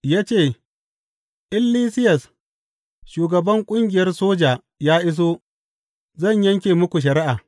Ya ce, In Lisiyas shugaban ƙungiyar soja ya iso, zan yanke muku shari’a.